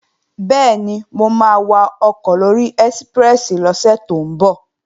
Bẹ́ẹ̀ni, mo máa wakọ̀ lóri ẹ́síprẹ́sì lọ́sẹ̀ tó ń bọ̀